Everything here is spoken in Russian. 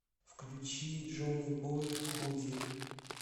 включи джонибой худи